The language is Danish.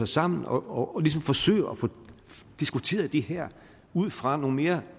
sammen og ligesom forsøger at få diskuteret det her ud fra nogle mere